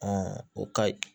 o kayi